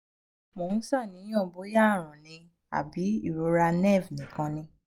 mo ń ṣàníyàn bóyá àrùn ni àbí ìrora nerve nìkan ni?